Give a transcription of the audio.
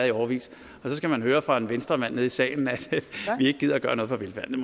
i årevis og så skal man høre fra en venstremand nede i salen at vi ikke gider gøre noget for velfærden